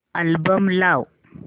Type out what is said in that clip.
album लाव